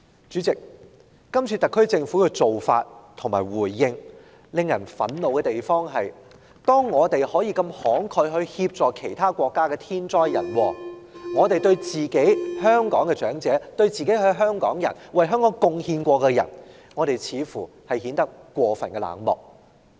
主席，今次特區政府的做法和回應令人憤怒之處是，當我們如此慷慨地協助其他受天災人禍影響的國家時，政府對香港的長者、一些曾為香港作出貢獻的人似乎顯得過分冷漠。